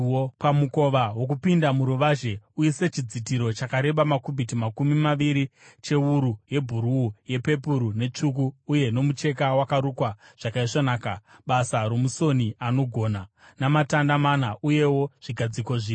“Pamukova wokupinda muruvazhe, uise chidzitiro chakareba makubhiti makumi maviri , chewuru yebhuruu, yepepuru netsvuku uye nomucheka wakarukwa zvakaisvonaka, basa romusoni anogona, namatanda mana uyewo zvigadziko zvina.